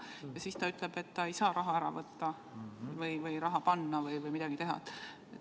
Ja siis ta ütleb, et ta ei saa raha ära võtta või raha panna või midagi teha.